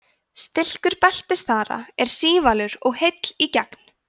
stilkur beltisþara er sívalur og heill í gegn